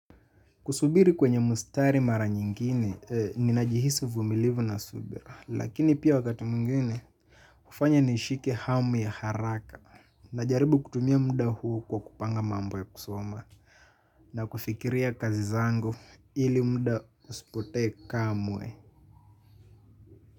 Kusubiri kwenye mstari mara nyingine, ninajihisi uvumilivu na subira. Lakini pia wakati mwingine, hufanya nishike hamu ya haraka. Najaribu kutumia muda huu kwa kupanga mambo ya kusoma. Na kufikiria kazi zangu ili muda usipotee kamwe.